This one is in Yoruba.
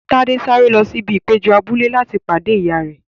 Tade sáré lọ sí ibi ìpéjọ abúlé láti pàdé ìyá rẹ.